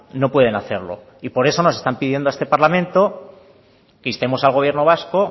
no pueden hacerlo y por eso nos están pidiendo a este parlamento que instemos al gobierno vasco